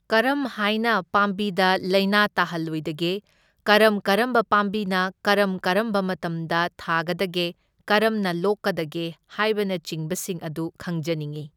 ꯀꯔꯝ ꯍꯥꯏꯅ ꯄꯥꯝꯕꯤꯗ ꯂꯩꯅ ꯇꯥꯍꯜꯂꯣꯏꯗꯒꯦ, ꯀꯔꯝ ꯀꯔꯝꯕ ꯄꯥꯝꯕꯤꯅ ꯀꯔꯝ ꯀꯔꯝꯕ ꯃꯇꯝꯗ ꯊꯥꯒꯗꯒꯦ, ꯀꯔꯝꯅ ꯂꯣꯛꯀꯗꯒꯦ, ꯍꯥꯏꯕꯅꯆꯤꯡꯕ ꯁꯤꯡ ꯑꯗꯨ ꯈꯪꯖꯅꯤꯡꯢ꯫